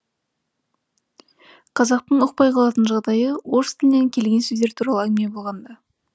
қазақтың ұқпай қалатын жағдайы орыс тілінен келген сөздер туралы әңгіме болғанда